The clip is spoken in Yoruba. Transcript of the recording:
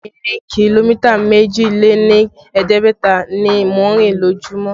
Ìrìn kìlómítà méjì lé ní ẹ̀ẹ́dẹ́gbẹ̀ta ni mò ń rìn lójumo